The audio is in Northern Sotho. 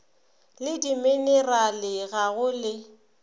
le dimenerale ga go le